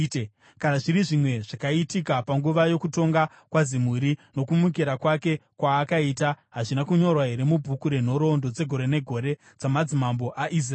Kana zviri zvimwe zvakaitika panguva yokutonga kwaZimuri, nokumukira kwake kwaakaita, hazvina kunyorwa here mubhuku renhoroondo dzegore negore dzamadzimambo aIsraeri?